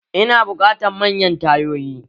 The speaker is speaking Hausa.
Ina buƙatan manyan tayoyi